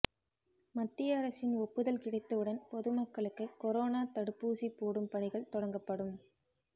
மத்திய அரசின் ஒப்புதல் கிடைத்தவுடன் பொதுமக்களுக்கு கொரோனா தடுப்பூசி போடும் பணிகள் தொடங்கப்படும்